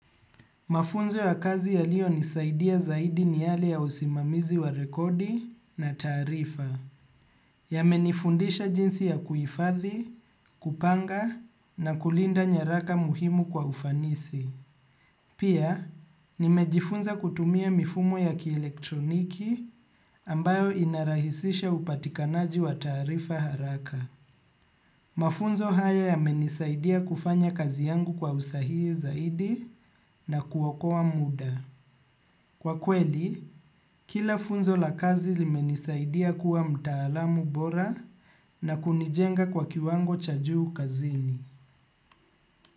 Mafunzo ya kazi yalionisaidia zaidi ni yale ya usimamizi wa rekodi na tarifa. Yamenifundisha jinsi ya kuifadhi, kupanga na kulinda nyaraka muhimu kwa ufanisi. Pia, nimejifunza kutumia mifumo ya kielektroniki ambayo inarahisisha upatikanaji wa tarifa haraka. Mafunzo haya yamenisaidia kufanya kazi yangu kwa usahii zaidi na kuoka muda. Kwa kweli, kila funzo la kazi limenisaidia kuwa mtaalamu bora na kunijenga kwa kiwango cha juu kazini.